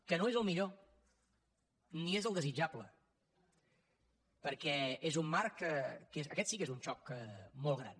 que no és el millor ni és el desitjable perquè és un marc que aquest sí és un xoc molt gran